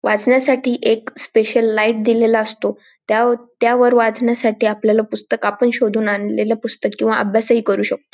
वाचण्यासाठी एक special light दिलेला असतो त्या त्यावर वाचण्यासाठी आपल्याला पुस्तक आपण शोधून आणलेल पुस्तक किंवा अभ्यास ही करू शकतो.